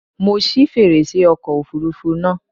Mo ṣí fèrèsé ọkọ̀ òfurufú náà.